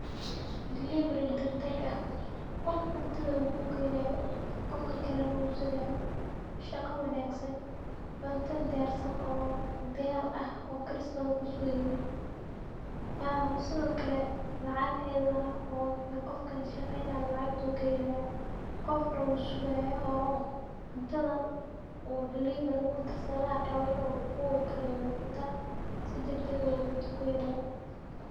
Delivery dag dag ah qof cuntadha u ku kenayo qofka kalana u hubsanayo shaqa wanagsan cunta diyarsan oo diyar ah oo karis kasugeynin sithokale lacag iyadhana qofka shaqeynaya lacag ayu ka helaya qofna wusigaya oo cuntadha u delivery udirsadhe lagayawa in u karinin cunta si dag dag ayu cunta ku hela.